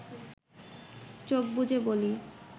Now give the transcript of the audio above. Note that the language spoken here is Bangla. চোখ বুজে বলি